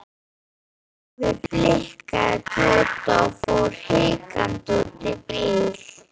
Afi blikkaði Tóta og fór hikandi út í bíl.